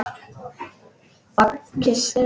Og kyssti mig.